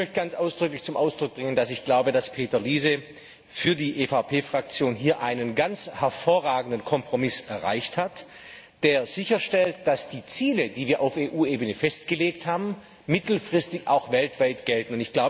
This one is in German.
Ich möchte ganz ausdrücklich zum Ausdruck bringen, dass ich glaube, dass Peter Liese für die EVP Fraktion hier einen ganz hervorragenden Kompromiss erreicht hat, der sicherstellt, dass die Ziele, die wir auf EU Ebene festgelegt haben, mittelfristig auch weltweit gelten.